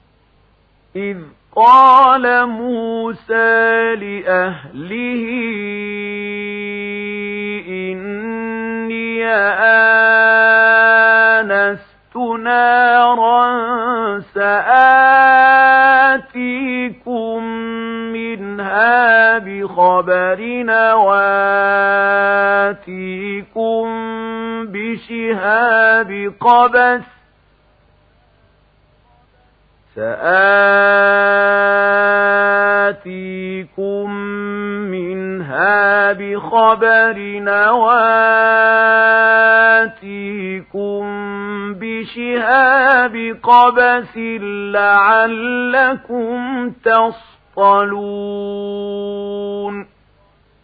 إِذْ قَالَ مُوسَىٰ لِأَهْلِهِ إِنِّي آنَسْتُ نَارًا سَآتِيكُم مِّنْهَا بِخَبَرٍ أَوْ آتِيكُم بِشِهَابٍ قَبَسٍ لَّعَلَّكُمْ تَصْطَلُونَ